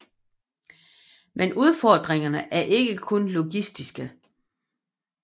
Men udfordringerne er ikke kun logistiske